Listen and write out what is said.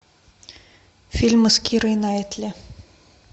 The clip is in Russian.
фильмы с кирой найтли